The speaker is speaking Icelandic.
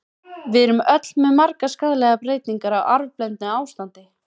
Við erum öll með margar skaðlegar breytingar, á arfblendnu ástandi.